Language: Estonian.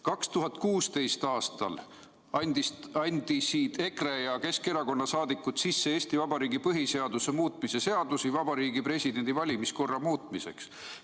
2016. aastal andsid EKRE ja Keskerakonna saadikud sisse Eesti Vabariigi põhiseaduse muutmise seaduse Vabariigi Presidendi valimiskorra muutmiseks.